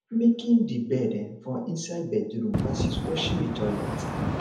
making the bed um for inside bedroom vs washing the toilet